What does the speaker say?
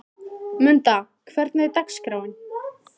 Munda, hvernig er dagskráin?